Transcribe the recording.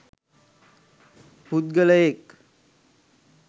පුද්ගලයෙක්